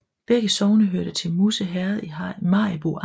Begge sogne hørte til Musse Herred i Maribo Amt